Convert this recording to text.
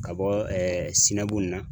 Ka bɔ sinagunna.